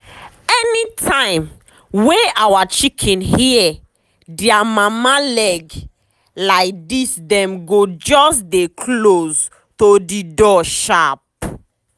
anytime wey our chicken hear dia mama leg laidisdem go just dey close to the door sharp.